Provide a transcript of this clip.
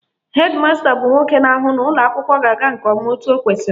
Hed masta bụ nwoke na-ahụ na ụlọakwụkwọ ga-aga nke ọma etu ọ kwesịrị